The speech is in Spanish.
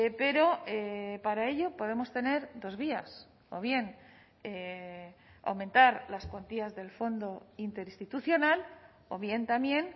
pero para ello podemos tener dos vías o bien aumentar las cuantías del fondo interinstitucional o bien también